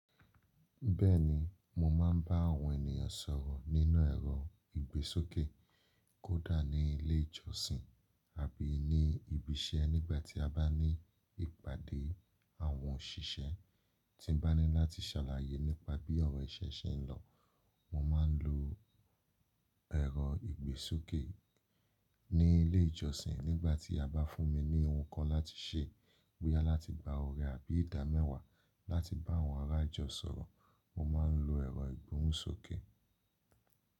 Bẹ́ẹ̀ni, mo máa ń bá àwọn ènìyàn sọ̀rọ̀ nínú ẹ̀rọ ìgbésókè, kódà ní ilé ìjọsìn àbí ní ibi iṣẹ́ nígbà tí a bá ní ìpàdé àwọn òṣìṣẹ́. Tí n bá ní láti ṣàlàyé nípa bí ọ̀rọ̀ ìṣe ṣe ń lọ, mo máa ń lo ẹ̀rọ ìgbésókè. Ní ilé ìjọsìn, nígbà tí a bá fún mi ní ohun kan láti ṣe, bóyá láti gba oore àbí ìdá mẹ́wàá láti bá àwọn ará ìjọ sọ̀rọ̀, mo máa ń lo ẹ̀rọ ìgbóhùnsókè.